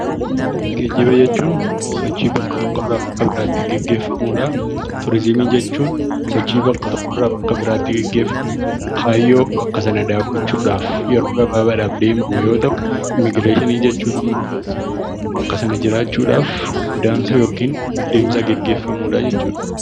Geejiba jechuun sochii bakkaa tokkoo bakka biraatti gaggeeffamudha. Turizimii jechuun sochii bakka tokkoo bakka biraatti gaggeeffamu kaayyoo bakka sana daawwachuudhaaf deemamu yoo ta'u, immigireeshinii jechuun immoo bakka sana jiraachuudhaaf godaansa yookiin deemsa gaggeeffamu jechuudha.